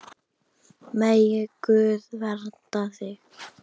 Megi Guð vernda þig.